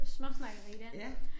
Småsnakkeri der